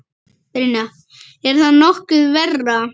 Brynja: Er það nokkuð verra?